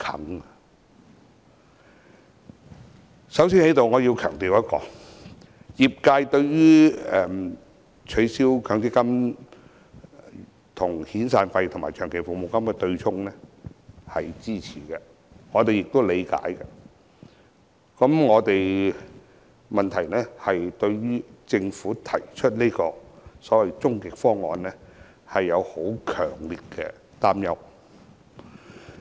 我先在此強調一點，業界對於取消強積金跟遣散費和長期服務金對沖是支持的，我們也理解，但問題是我們對於政府提出的所謂終極方案，有強烈的擔憂。